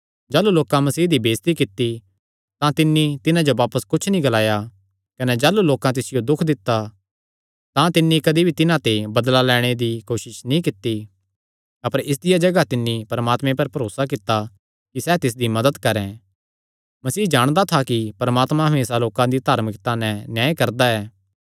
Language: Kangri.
जाह़लू लोकां मसीह दी बेइज्जती कित्ती तां तिन्नी तिन्हां जो बापस कुच्छ नीं ग्लाया कने जाह़लू लोकां तिसियो दुख दित्ता तां तिन्नी कदी भी तिन्हां ते बदला लैणे दी कोसस नीं कित्ती अपर इसदिया जगाह तिन्नी परमात्मे पर भरोसा कित्ता कि सैह़ तिसदी मदत करैं मसीह जाणदा था कि परमात्मा हमेसा लोकां दा धार्मिकता नैं न्याय करदा ऐ